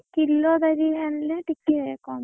କିଲ ଦାରିଆ ଆଣିଲେ ଟିକେ କମ୍ ପଡେ।